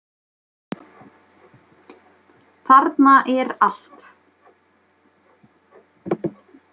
Þarna er allt.